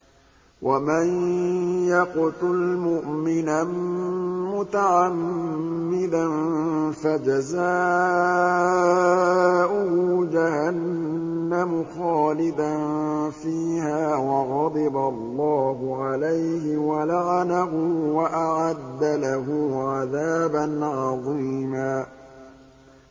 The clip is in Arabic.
وَمَن يَقْتُلْ مُؤْمِنًا مُّتَعَمِّدًا فَجَزَاؤُهُ جَهَنَّمُ خَالِدًا فِيهَا وَغَضِبَ اللَّهُ عَلَيْهِ وَلَعَنَهُ وَأَعَدَّ لَهُ عَذَابًا عَظِيمًا